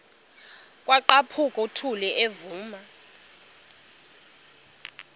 kwaqhaphuk uthuli evuma